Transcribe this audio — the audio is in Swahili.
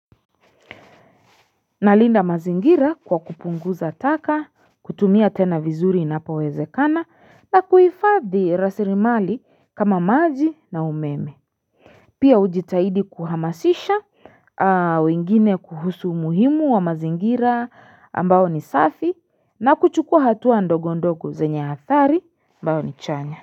Nalinda mazingira kwa kupunguza taka kutumia tena vizuri inapowezekana na kuifadhi rasirimali kama maji na umeme Pia ujitahidi kuhamasisha wengine kuhusu muhimu wa mazingira ambao ni safi na kuchukua hatua ndogo ndogo zenye hatari ambao ni chanya.